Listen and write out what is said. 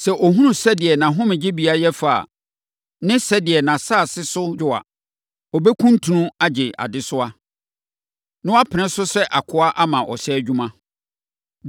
Sɛ ɔhunu sɛdeɛ nʼahomegyebea yɛ fa a, ne sɛdeɛ nʼasase no so dwo a, ɔbɛkuntunu agye adesoa, na wapene so sɛ akoa ama ɔhyɛ adwuma.